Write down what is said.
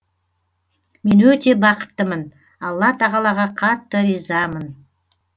мен өте бақыттымын алла тағалаға қатты ризамын